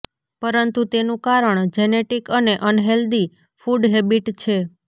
પરંતુ તેનુ કારણ જેનેટિક અને અનહેલ્ધી ફુડ હેબિટ છે